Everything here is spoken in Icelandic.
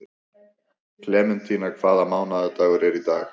Klementína, hvaða mánaðardagur er í dag?